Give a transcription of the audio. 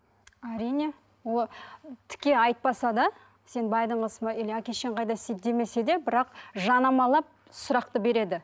әрине тіке айтпаса да сен байдың қызысың ба или әке шешең қайда істейді демесе де бірақ жанамалап сұрақты береді